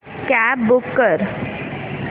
cab book कर